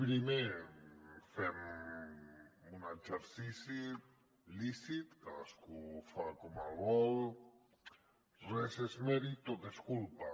primer fem un exercici lícit cadascú el fa com vol res és mèrit tot és culpa